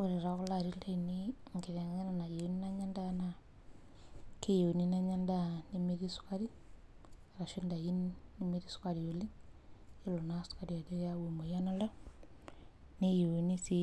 Ore tokulo larin lainei enkitengena nayieunu na keyieuni nanya endaa nemetii sukari ashu ndakini nemetii sukari yiolo na sukuari ajo keyau emoyian oltau neyieuni si